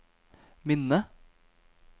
minne